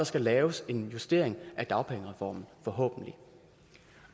skal laves en justering af dagpengereformen og